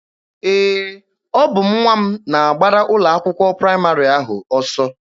Ee, ọ bụ nwa m na-agbara ụlọ akwụkwọ praịmarị ahụ ọsọ.